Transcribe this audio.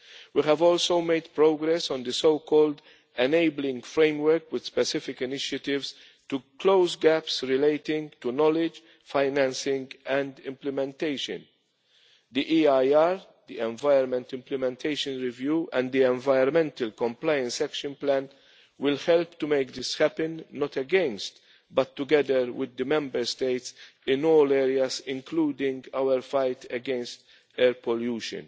We have also made progress on the so called enabling framework, with specific initiatives to close gaps relating to knowledge, financing and implementation. The Environment Implementation Review and the environmental compliance action plan will help to make this happen, not against but together with the Member States in all areas, including our fight against air pollution.